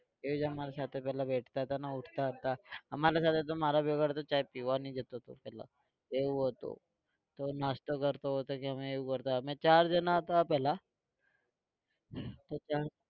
એ જ અમારા સાથે પહેલા બેસતા હતા અને ઉઠતા હતા અમારા સાથે તો મારો વ્યવહાર તો ચા પીવાની જ હતો, એવું હતું તો નાસ્તો કરતો તો કે અમે એવું કરતા અમે ચાર જણા હતા પહેલા તો ત્રણ